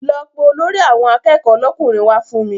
Lọ pe Olórí àwọn akẹ́kọ̀ọ́ lọ́kùnrin wá fún mi